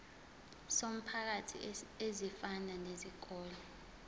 zomphakathi ezifana nezikole